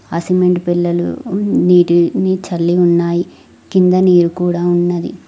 ఆ సిమెంటు పెల్లలు నీటిని చల్లి ఉన్నాయి కింద నీరు కూడా ఉన్నది.